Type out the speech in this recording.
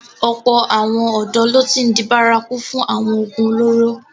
Ọ̀pọ̀ àwọn ọ̀dọ́ ló ti n di bárakú fún awọn oògùn olóró.